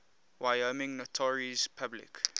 wyoming notaries public